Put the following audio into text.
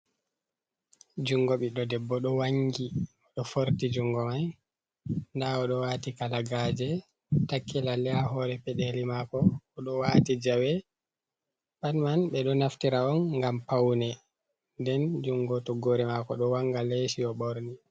Junngo ɓiɗɗo debbo ɗo wanngi ,bo o ɗo forti junngo may. Ndaa o ɗo waati kalagaaje ,takki lalle haa hoore peɗeeli maako .O ɗo waati jawe pat man ɓe ɗo naftira on, ngam pawne, nden junngo toggoore maako ɗo wannga leeci o ɓorni.